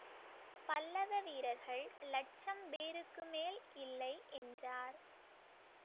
பல்லவ வீரர்கள் லட்சம் பேருக்கு மேல் இல்லை என்றார்